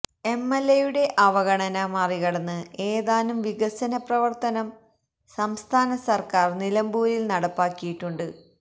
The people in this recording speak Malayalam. എംഎല്എയുടെ അവഗണന മറികടന്ന് ഏതാനും വികസന പ്രവര്ത്തനം സംസ്ഥാനസര്ക്കാര് നിലമ്പൂരില് നടപ്പാക്കിയിട്ടുണ്ട്